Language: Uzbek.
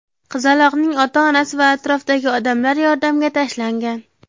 Qizaloqning ota-onasi va atrofdagi odamlar yordamga tashlangan.